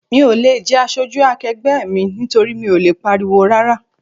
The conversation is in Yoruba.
Mi ò le jẹ́ aṣojú akegbe mi nítorí mi ò lè pariwo rárá.